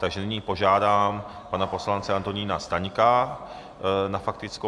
Takže nyní požádám pana poslance Antonína Staňka na faktickou.